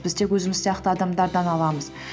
біз тек өзіміз сияқты адамдардан аламыз